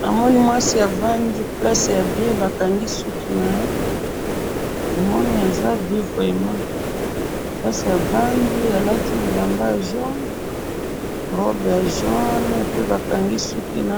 namoni mwasi afandi place ya bien bakangi suki naye namoni eza bien vraiment place avandi alati bilamba ya jaune robe ya jaune pe bakangiye